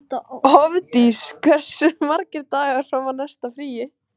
Hofdís, hversu margir dagar fram að næsta fríi?